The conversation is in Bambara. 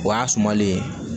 O y'a sumalen